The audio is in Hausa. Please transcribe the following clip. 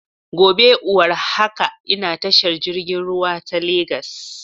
Gobe iwar haka ina tashar jirgin ruwa ta Legas